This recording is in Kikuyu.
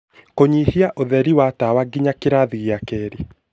Kũnyihia ũtheri wa tawa nginya kĩrathi gĩa kerĩ